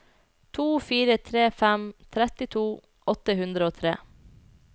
to fire tre fem trettito åtte hundre og tre